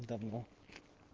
давно